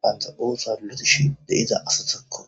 banta oosa lotishi deiza asasokko